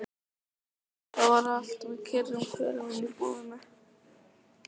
Það var allt með kyrrum kjörum inni í íbúðinni.